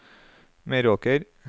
Meråker